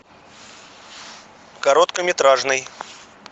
короткометражный